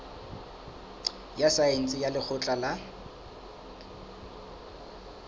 ya saense ya lekgotleng la